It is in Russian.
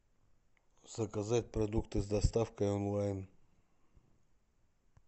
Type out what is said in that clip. заказать продукты с доставкой онлайн